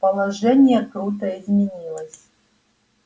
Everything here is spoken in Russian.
положение круто изменилось